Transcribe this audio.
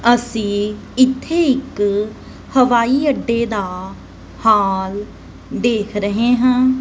ਅਸੀ ਇਥੇ ਇੱਕ ਹਵਾਈ ਅੱਡੇ ਦਾ ਹਾਲ ਦੇਖ ਰਹੇ ਹਾਂ।